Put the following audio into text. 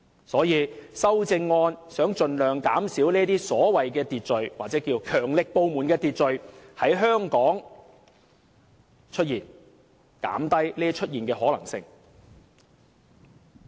所以，修正案就是想盡量減少所謂強力部門的秩序在香港出現，是要減低其出現的可能性。